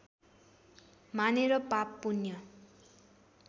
मानेर पाप पुण्य